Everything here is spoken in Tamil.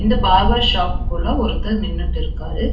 அந்த பார்பர் ஷாப்பு குள்ள ஒருத்தர் நின்னுட் இருக்காரு.